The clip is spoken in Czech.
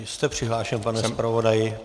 Jste přihlášen, pane zpravodaji.